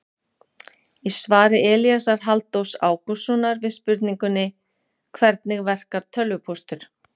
Í svari Elíasar Halldórs Ágústssonar við spurningunni Hvernig verkar tölvupóstur?